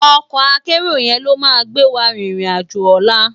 Òkò àkèéró yèn ló má gbéwá ririn àjó òlá